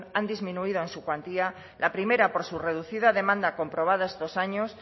han disminuido en su cuantía la primera por su reducida demanda comprobada estos años